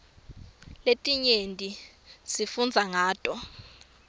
letinye sifundza ngato